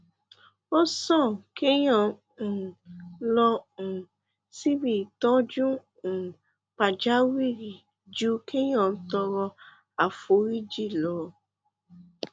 ó sàn kéyàn um lọ um síbi ìtọ́jú um pàjáwìrì ju kéyàn tọrọ àforíjì lọ